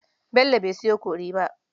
Bello bai sayo kori ba.